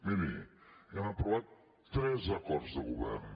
miri hem aprovat tres acords de govern